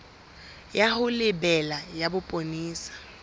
ya ho lebela ya bopolesa